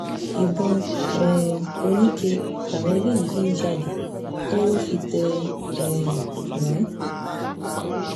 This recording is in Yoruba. ìbọn um oníke làwọn eléyìí fi ń jalè tọ́wọ́ fi tẹ̀ um wọ́n